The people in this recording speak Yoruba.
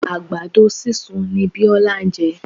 Àgbàdo sísun ni Biola jẹ.